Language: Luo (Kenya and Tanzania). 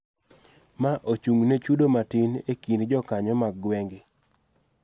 Ma ochung�ne chudo matin ekind jokanyo mag gwenge.